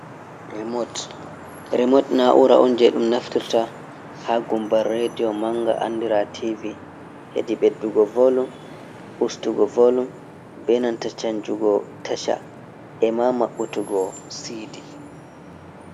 Remot, remot naura on je ɗum naftirta ha gumbar redio manga andira tv hedi ɓeddugo volume, ustugo volum, benanta canjugo tacha e ma mabbutugo sidi.